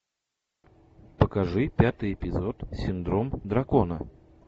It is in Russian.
покажи пятый эпизод синдром дракона